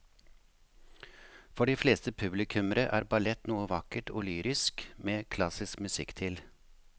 For de fleste publikummere er ballett noe vakkert og lyrisk med klassisk musikk til.